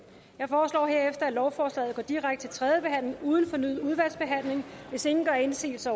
jeg foreslår herefter at lovforslaget går direkte til tredje behandling uden fornyet udvalgsbehandling hvis ingen gør indsigelse